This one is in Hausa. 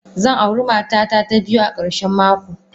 Zan auri matata ta biyu a karshen mako.